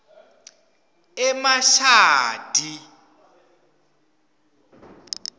emashadi